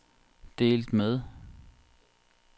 delt med